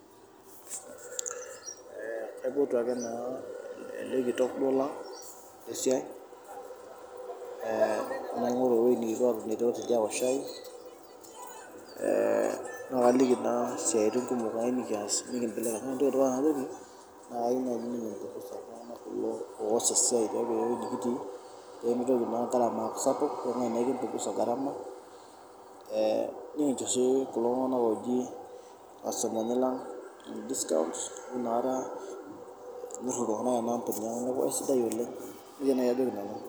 Kaipotu ake naa elekitok duo lang lesiai, naingoru ewuei nikipuo atoni aok shai , naliki naa siatin kumok esiai pemitoki naa garama aaku sapuk , nikincho si kulo tunganak oji ircustomani lang discounts amu inakata eaku esiai sidai oleng.